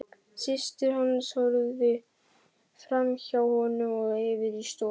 Systir hans horfði framhjá honum og yfir í stofuna.